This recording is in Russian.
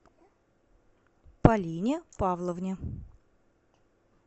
полине павловне